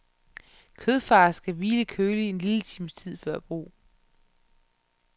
Kødfars skal hvile køligt en lille times tid før brug.